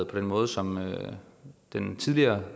på den måde som den tidligere